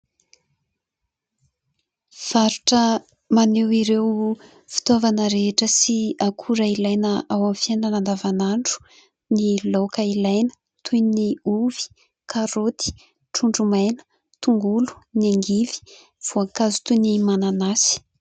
Faritra maneho ireo fitaovana rehetra sy akora ilaina ao amin' ny fiainana andavanandro ny laoka ilaina toy ny : ovy, karaoty, trondromaina, tongolo, ny angivy, voankazo toy ny mananasy.